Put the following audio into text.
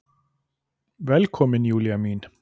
Velkomin Júlía mín.